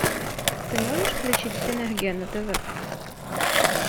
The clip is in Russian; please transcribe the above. ты можешь включить синергия на тв